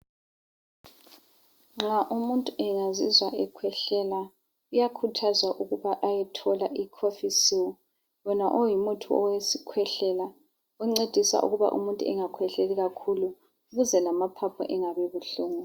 Nxa umuntu engazizwa ekhwehlela, kuyakhuthazwa ukuba ayethola ikhofisil wona ongumuthi owesikhwehlela, oncedisa ukuba umuntu angakhwehleli kakhulu, ukuze lamaphapho angabi buhlungu.